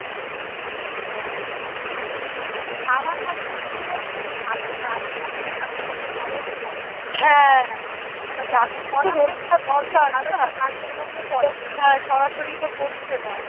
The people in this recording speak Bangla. সরাসরি তো পরছে না